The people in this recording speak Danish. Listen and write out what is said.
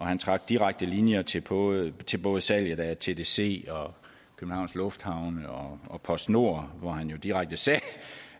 han trak direkte linjer til både til både salget af tdc og københavns lufthavne og postnord hvor han jo direkte sagde